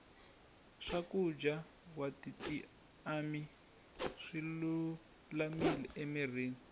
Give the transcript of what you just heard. swakuja watitiamati swilulamile amirini